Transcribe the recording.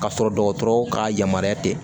Ka sɔrɔ dɔgɔtɔrɔw ka yamaruya tɛ